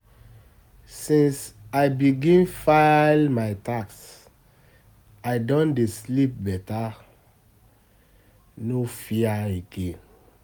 Since I begin file my tax, I don dey sleep better, no fear again.